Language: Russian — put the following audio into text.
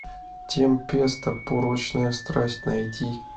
темпеста порочная страсть найти